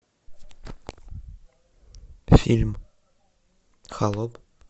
фильм холоп